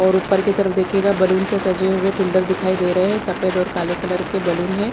और उपर की तरफ देखिएगा बलून से सजे हुए पिलर भी दिखाई दे रहे है सफ़ेद और काले कलर के बलून है।